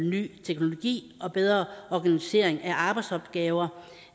ny teknologi og bedre organisering af arbejdsopgaver